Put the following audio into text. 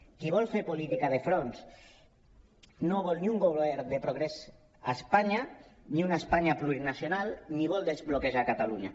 qui vol fer política de fronts no vol ni un govern de progrés a espanya ni una espanya plurinacional ni vol desbloquejar catalunya